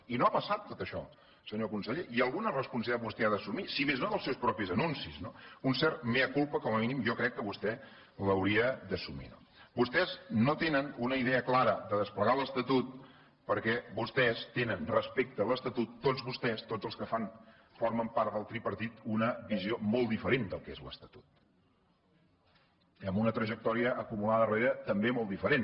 i no ha passat tot això senyor conseller i alguna responsabilitat vostè ha d’assumir si més no dels seus propis anuncis no un cert mea culpa com a mínim jo crec que vostè l’hauria d’assumir no vostès no tenen una idea clara de desplegar l’estatut perquè vostès tenen respecte a l’estatut tots vostès tots els que formen part del tripartit una visió molt diferent del que és l’estatut amb una trajectòria acumulada darrere també molt diferent